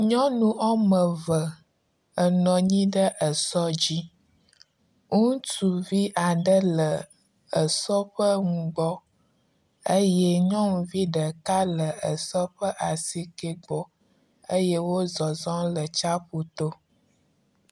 Nyɔnu wɔme eve enɔ anyi ɖe esɔ dzi. Ŋutsuvi aɖe le esɔ ƒe nugbɔ eye nyɔnuvi ɖeka le esɔ ƒe asikɛ gbɔ eye wo zɔzɔm le tsaƒu to.